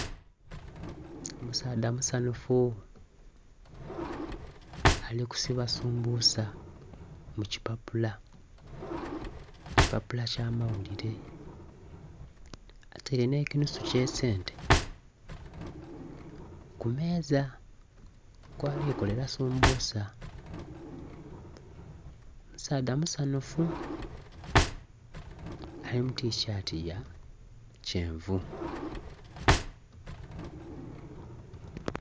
Omusaadha musanhufu, ali kusiba sumbusa mu kipapula. Kipapula kya mawulire. Ataile nh'ekinusu ky'esente ku meeza, kwali kolera sumbusa. Musaadha musanhufu, ali mu tishati ya kyenvu.